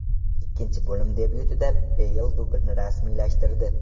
Ikkinchi bo‘lim debyutida Beyl dublni rasmiylashtirdi.